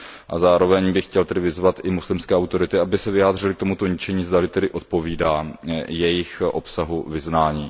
A zároveň bych chtěl vyzvat muslimské autority, aby se vyjádřily k tomuto ničení, zda odpovídá jejich obsahu vyznání.